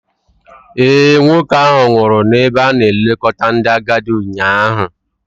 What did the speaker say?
Ee, nwoke ahụ nwụrụ n'ebe a na-elekọta ndị agadi ụnyaahụ.